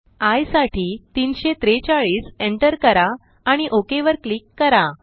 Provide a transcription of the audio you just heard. I साठी 343एंटर करा आणि ओक वर क्लिक करा